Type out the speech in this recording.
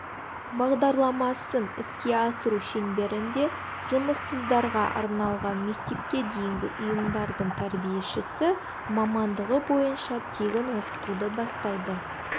бағдарламасын іске асыру шеңберінде жұмыссыздарға арналған мектепке дейінгі ұйымдардың тәрбиешісі мамандығы бойынша тегін оқытуды бастайды